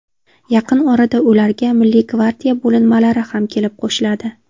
Yaqin orada ularga milliy gvardiya bo‘linmalari ham kelib qo‘shiladi.